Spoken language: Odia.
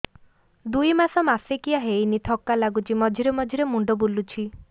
ଦୁଇ ମାସ ମାସିକିଆ ହେଇନି ଥକା ଲାଗୁଚି ମଝିରେ ମଝିରେ ମୁଣ୍ଡ ବୁଲୁଛି